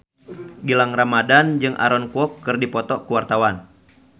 Gilang Ramadan jeung Aaron Kwok keur dipoto ku wartawan